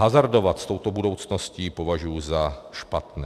Hazardovat s touto budoucností považuji za špatné.